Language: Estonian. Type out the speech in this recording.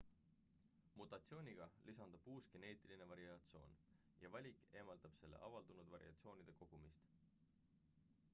mutatsiooniga lisandub uus geneetiline variatsioon ja valik eemaldab selle avaldunud variatsioonide kogumist